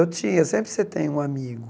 Eu tinha, sempre você tem um amigo.